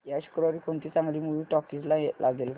या शुक्रवारी कोणती चांगली मूवी टॉकीझ ला लागेल का